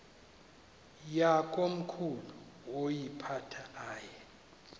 yakomkhulu woyiphatha aye